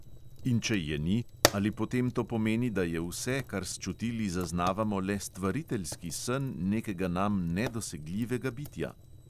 In če je ni, ali potem to pomeni, da je vse, kar s čutili zaznavamo, le stvariteljski sen nekega nam nedosegljivega bitja?